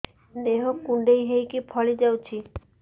ଦେହ କୁଣ୍ଡେଇ ହେଇକି ଫଳି ଯାଉଛି